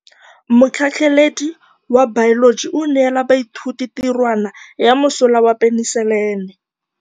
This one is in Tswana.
Motlhatlhaledi wa baeloji o neela baithuti tirwana ya mosola wa peniselene.